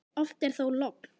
Oft er þó logn.